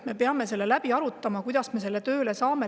Me peame selle läbi arutama, kuidas me selle tööle saame.